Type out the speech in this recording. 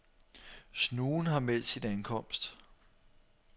Snuen har meldt sin ankomst.